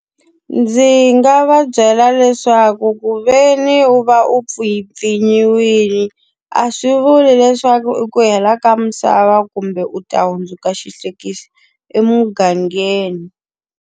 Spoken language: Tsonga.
Ndzi nga va byela leswaku ku ve ni u va u pfinyiwile, a swi vuli leswaku i ku hela ka misava kumbe u ta hundzuka xihlekiso emugangeni.